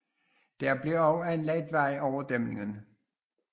Der blev også anlagt vej over dæmningen